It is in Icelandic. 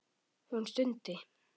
Hún stundi.